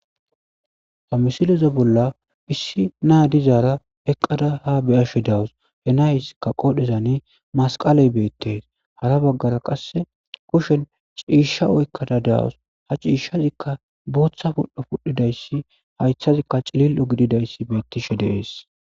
Ha misileza bolla issi nay dizara eqada ha beyashe dawus .he nayska qodhezan masqaley betes .hara bagara qase kushen ciisha oykada de'awus ha cishazika bootha pudho pudhidays haythazika cilil'o gididays betishe de'es.